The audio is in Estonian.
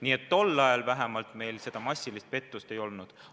Nii et tol ajal vähemalt massilist pettust ei olnud.